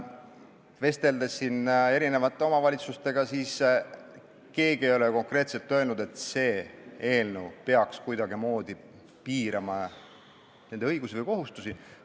Olen vestelnud omavalitsuste esindajatega ja keegi ei ole konkreetselt öelnud, et see eelnõu hakkaks kuidagimoodi nende õigusi või kohustusi piirama.